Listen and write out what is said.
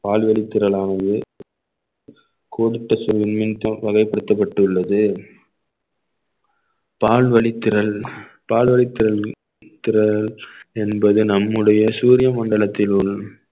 பால்வழித் திரளானது கொடுத்த சுருள் வகைப்படுத்தப்பட்டுள்ளது பால்வழித் திறள் பால் வலித்திறள் திற~ என்பது நம்முடைய சூரிய மண்டலத்தினுள்